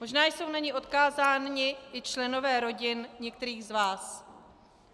Možná jsou na ni odkázáni i členové rodin některých z vás.